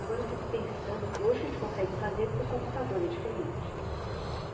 Agora eu fico pensando, eu falo, hoje a gente consegue fazer porque é computador, é diferente.